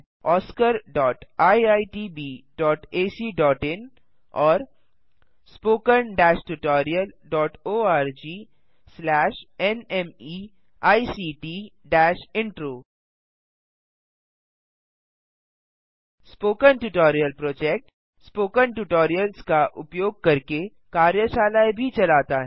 oscariitbacइन और httpspoken tutorialorgNMEICT Intro spoken tutorial project spoken tutorials का उपयोग करके कार्यशालाएँ भी चलाता है